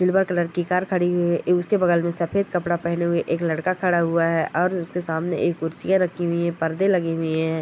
Silver colour की car खड़ी हुई है उसके बगल मे सफेद कपड़ा पहने हुए एक लड़का खड़ा हुआ है और उसके सामने एक कुरसिया रखी हुई है परदे लगे हुई है।